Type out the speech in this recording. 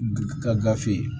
Ka gafe ye